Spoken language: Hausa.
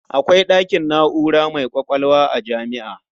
Akwai ɗakin na'ura mai ƙwaƙwalwa a jami'a.